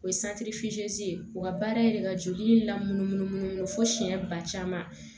O ye ye o ka baara ye ka joli lamunumunu munumunu fo siyɛn ba caman